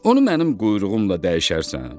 Onu mənim quyruğumla dəyişərsən?